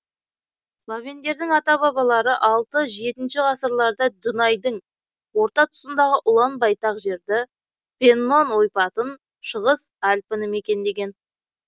словендердің ата бабалары алты жеті ғасырларда дунайдың орта тұсындағы ұлан байтақ жерді пеннон ойпатын шығыс альпіні мекендеген